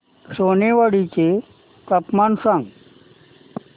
सोनेवाडी चे तापमान सांग